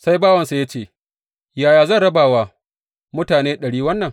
Sai bawansa ya ce, Yaya zan raba wa mutane ɗari wannan?